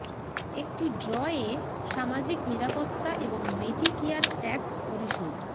একটি ড্র এ সামাজিক নিরাপত্তা এবং মেডিকেয়ার ট্যাক্স পরিশোধ